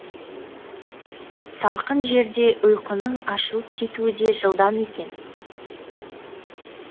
салқын жерде ұйқының ашылып кетуі де жылдам екен